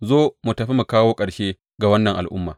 Zo, mu tafi mu kawo ƙarshe ga wannan al’umma.’